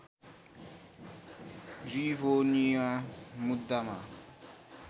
Rivonia मुद्दामा